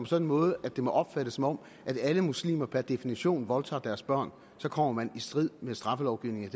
sådan måde at det må opfattes som om alle muslimer per definition voldtager deres børn kommer man i strid med straffelovgivningen i